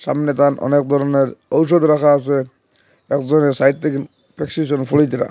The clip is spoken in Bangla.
সামনে অনেক ধরনের ঔষধ রাখা আছে একজনের সাইড থেকে প্রেসক্রিপশন ।